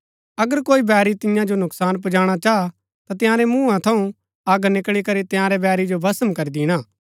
अगर कोई बैरी तियां जो नूकसान पुजाणा चाह ता तंयारै मुँहा थऊँ अग निकळी करी तंयारै बैरी जो भस्म करी दिणा हा